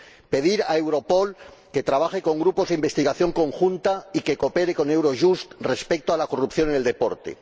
pedir a Europol que trabaje con grupos de investigación conjunta y que coopere con Eurojust respecto a la corrupción en el deporte